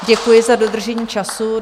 Děkuji za dodržení času.